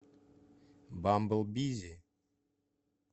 бамбл бизи